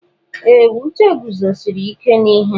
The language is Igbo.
Ee! Uche guzosiri ike n'ihe.